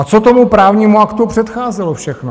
A co tomu právnímu aktu předcházelo všechno?